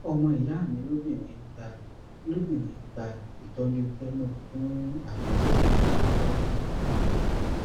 ọmọ ìyá mi lóbìnrin ń gba lóbìnrin ń gba ìtọjú chemo fún àrùn jẹjẹrẹ pancreatic